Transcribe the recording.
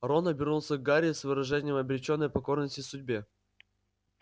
рон обернулся к гарри с выражением обречённой покорности судьбе